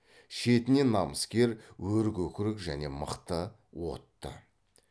шетінен намыскер өркөкірек және мықты отты